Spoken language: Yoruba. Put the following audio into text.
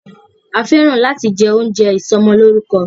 A fẹ́ràn láti jẹ oúnjẹ ìsọmọlórúkọ.